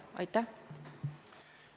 Aitäh!